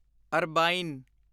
ਅਰਬਾਈਨ